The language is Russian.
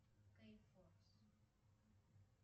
кейфорс